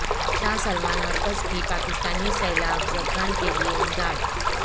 شاہ Salman مرکز کی پاکستانی سیلاب زدگان کے لیے امداد